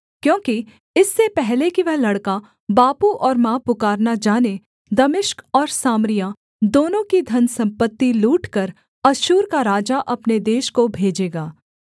क्योंकि इससे पहले कि वह लड़का बापू और माँ पुकारना जाने दमिश्क और सामरिया दोनों की धनसम्पत्ति लूटकर अश्शूर का राजा अपने देश को भेजेगा